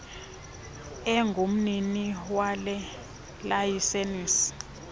engumnini wale layisenisi